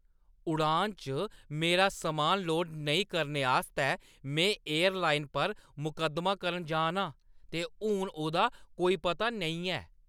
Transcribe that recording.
उड़ान च मेरा समान लोड नेईं करने आस्तै में एयरलाइन पर मकद्दमा करन जा ना आं ते हून ओह्दा कोई पता नेईं ऐ।